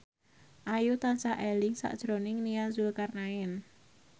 Ayu tansah eling sakjroning Nia Zulkarnaen